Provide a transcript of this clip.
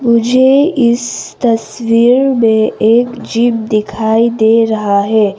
मुझे इस तस्वीर में एक जीव दिखाई दे रहा है।